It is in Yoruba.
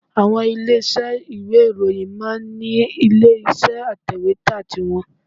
Àwọn ilé iṣẹ́ ìwé ìròyìn máa ń ní ilé iṣẹ́ atẹ̀wẹ́tà ti wọn